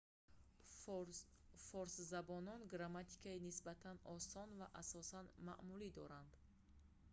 форсзабонон грамматикаи нисбатан осон ва асосан маъмулӣ доранд